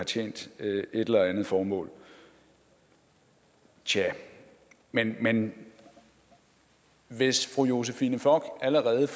tjent et eller andet formål tjah men men hvis fru josephine fock allerede